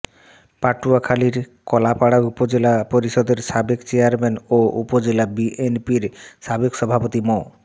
পটুয়াখালীর কলাপাড়া উপজেলা পরিষদের সাবেক চেয়ারম্যান ও উপজেলা বিএনপির সাবেক সভাপতি মো